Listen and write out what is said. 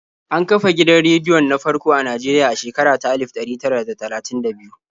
An kafa gidan rediyon na farko a Najeriya a shekara ta alif ɗari tara da talatin da biyu.